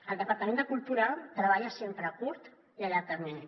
el departament de cultura treballa sempre a curt i a llarg termini